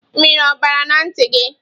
Mmiri o bara na nti gi?